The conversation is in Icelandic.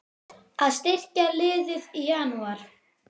Að styrkja liðið í Janúar?